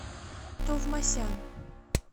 товмасян